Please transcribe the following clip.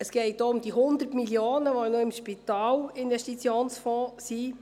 Es geht weiter um die 100 Mio. Franken, die noch im Spitalinvestitionsfonds (SIF) vorhanden sind.